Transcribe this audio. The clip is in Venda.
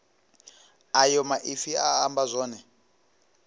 ayo maipfi a amba zwone